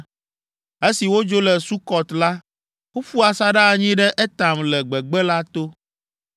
Esi wodzo le Sukɔt la, woƒu asaɖa anyi ɖe Etam le gbegbe la to.